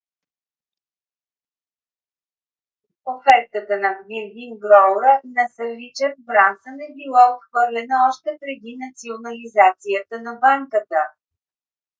офертата на virgin group на сър ричард брансън е била отхвърлена още преди национализацията на банката